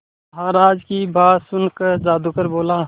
महाराज की बात सुनकर जादूगर बोला